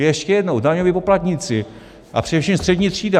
Ještě jednou - daňoví poplatníci, a především střední třída.